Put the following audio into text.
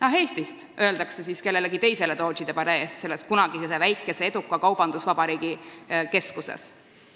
"Ah Eestist!" öeldakse siis kellelegi teisele Doodžide palee ees, kunagise eduka väikese kaubandusvabariigi keskuses.